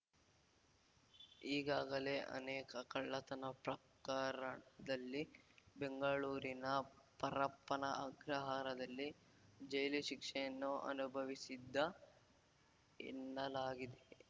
ಈಗಾಗಲೇ ಅನೇಕ ಕಳ್ಳತನ ಪ್ರಕರದಲ್ಲಿ ಬೆಂಗಳೂರಿನ ಪರಪ್ಪನ ಅಗ್ರಹಾರದಲ್ಲಿ ಜೈಲು ಶಿಕ್ಷೆಯನ್ನು ಅನುಭವಿಸಿದ್ದ ಎನ್ನಲಾಗಿದೆ